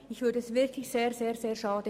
Das fände ich wirklich sehr, sehr schade.